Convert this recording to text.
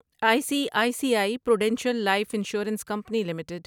I C I C I Prudential Life Insurance Company limited